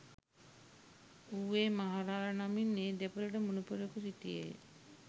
ඌවේ මහ රාළ නමින් ඒ දෙපළට මුණුපුරෙකු සිටියේය